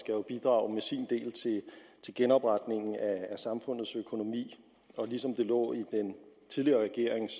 jo bidrage med sin del til genopretningen af samfundets økonomi og ligesom det lå i den tidligere regerings